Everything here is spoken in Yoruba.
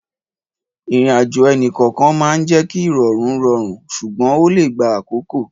Ìrìnàjò ẹnì kọ̀ọ̀kan máa ń jẹ́ kí ìrọ̀rùn rọrùn ṣùgbọ́n ó lè gba àkókò.